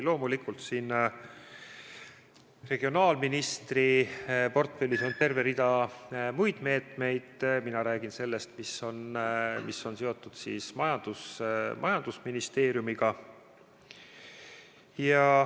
Loomulikult, regionaalministri portfellis on terve rida muid meetmeid, mina räägin sellest, mis on seotud majandusministeeriumiga.